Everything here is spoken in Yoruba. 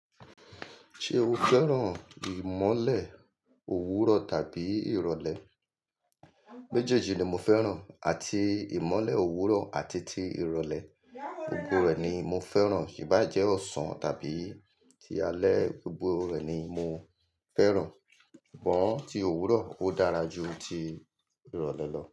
Ṣé o fẹ́ràn ìmọ́lẹ̀ òwúrọ̀ tàbí ìrọ̀lẹ́? Méjèèjì ni mo fẹ́ràn, àti ìmọ́lẹ̀ òwúrọ̀ àti ti ìrọ̀lẹ́, gbogbo rẹ̀ ni mo fẹ́ràn, iba jẹ́ ọ̀sán tàbí ti alẹ́, gbogbo rẹ̀ ni mo fẹ́ràn. Ngbo ti òwúrọ̀ ó dára ju ti ìrọ̀lẹ́ lọ.